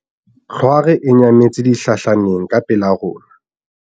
tlhware e nyametse dihlahleng ka pela rona